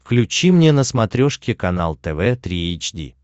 включи мне на смотрешке канал тв три эйч ди